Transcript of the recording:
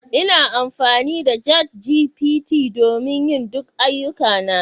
Ina amfani da ChatGPT don yin duk ayyukana